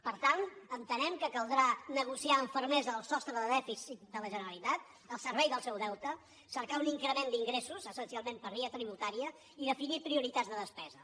per tant entenem que caldrà negociar amb fermesa el sostre de dèficit de la generalitat al servei del seu deute cercar un increment d’ingressos essencialment per via tributària i definir prioritats de despesa